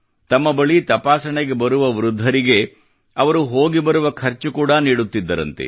ತಮ್ಮ ಬಳಿ ತಪಾಸಣೆಗೆ ಬರುವ ವೃದ್ಧರಿಗೆ ಅವರು ಹೋಗಿ ಬರುವ ಖರ್ಚು ಕೂಡಾ ನೀಡುತ್ತಿದ್ದರಂತೆ